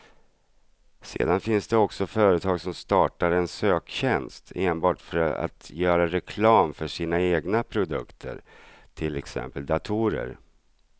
Sedan finns det också företag som startar en söktjänst enbart för att göra reklam för sina egna produkter, till exempel datorer.